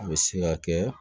A bɛ se ka kɛ